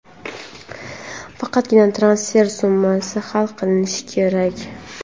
faqatgina transfer summasi hal qilinishi kerak.